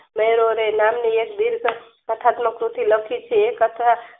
નહેરુ અને નામની એક ડિસ્ક કથાત્મક કૃતિ લખી છે. એક અથવા